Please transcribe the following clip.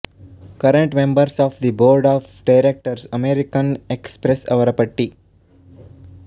current members of the board of directors American Express ಅವರ ಪಟ್ಟಿ